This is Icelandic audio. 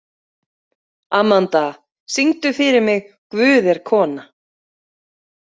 Amanda, syngdu fyrir mig „Guð er kona“.